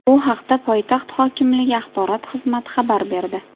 Bu haqda poytaxt hokimligi axborot xizmati xabar berdi .